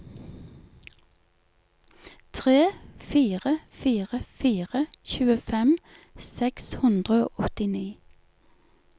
tre fire fire fire tjuefem seks hundre og åttini